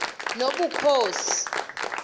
nobukhosi